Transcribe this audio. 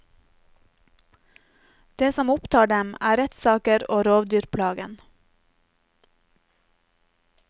Det som opptar dem, er rettssaker og rovdyrplagen.